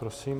Prosím.